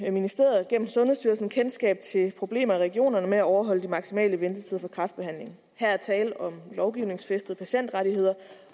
i ministeriet gennem sundhedsstyrelsen kendskab til problemer i regionerne med at overholde de maksimale ventetider for kræftbehandling her er tale om lovgivningsfæstede patientrettigheder